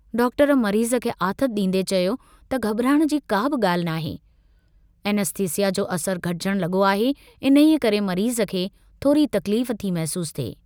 Doctor मरीज़ खे आथतु डींदे चयो त घबराइण जी गाल्हि कोन्हे ऐनेस्थिस्यिा जो असरु घटिजण लगो आहे, इन्हीअ करे मरीज़ खे थोरी तकलीफ़ थी महसूस थिए।